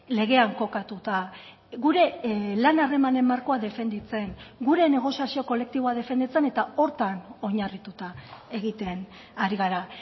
legean kokatuta gure lan harremanen markoa defenditzen gure negoziazio kolektiboa defenditzen eta horretan oinarrituta egiten ari gara